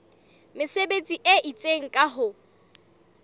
mesebetsi e itseng ka ho